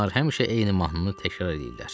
Onlar həmişə eyni mahnını təkrar eləyirlər.